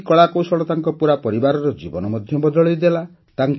ତାଙ୍କର ଏହି କଳାକୌଶଳ ତାଙ୍କ ପୁରା ପରିବାରର ଜୀବନ ବଦଳେଇଦେଲା